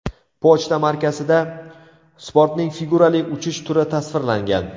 Pochta markasida sportning figurali uchish turi tasvirlangan.